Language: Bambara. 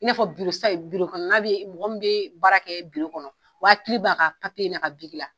I n'a fɔ kɔnɔ mɔgɔ min be baara kɛ kɔnɔ, o hakili b'a ka n'a ka la